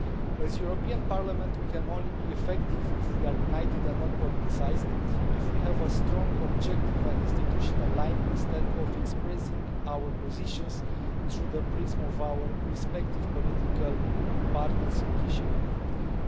As the European Parliament we can only be effective if we are united and not politicised, if we have a strong, objective and institutional line instead of expressing our positions through the prism of our respective political partners in Chişinau.